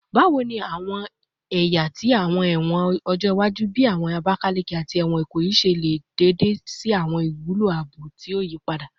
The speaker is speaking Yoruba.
Bawo ni awọn ẹya ti awọn ẹwọn ọjọ iwaju, bii ẹwọn Abakaleke ati ẹwọn Ikoyi, ṣe le ṣe deede si awọn iwulo aabo ti o yipada?